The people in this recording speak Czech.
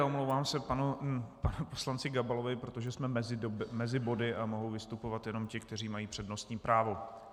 A omlouvám se panu poslanci Gabalovi, protože jsme mezi body a mohou vystupovat jenom ti, kteří mají přednostní právo.